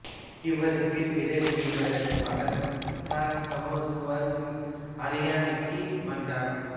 இவருக்குப் பிறகு இவரது மகன் சர் காமேசுவர் சிங் அரியணைக்கு வந்தார்